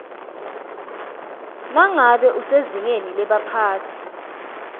nangabe usezingeni lebaphatsi